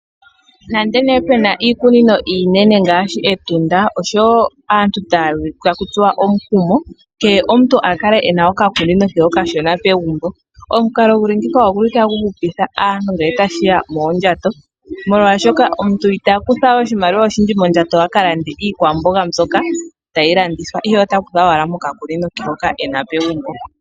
Nando pe naa iikunino iinene ngaashi Etunda, aantu otaya tsuwa woo omukumo opo kehe gumwe akale nokakunino ke kashona, pegumbo, oshili tashi hupitha aantu ngele tashi ya poondjato, oshoka omuntu italanda we iikwamboga ihe ota kutha mbyoka akuna.